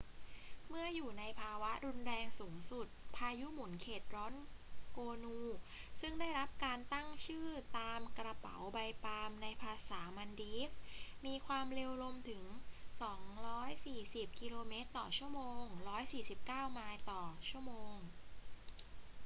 เมื่ออยู่ในภาวะรุนแรงสูงสุด พายุหมุนเขตร้อนโกนู ซึ่งได้รับการตั้งชื่อตามกระเป๋าใบปาล์มในภาษามัลดีฟส์ มีความเร็วลมถึง 240 กิโลเมตรต่อชั่วโมง 149 ไมล์ต่อชั่วโมง